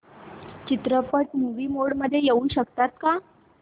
चित्रपट movie mode मध्ये येऊ शकेल का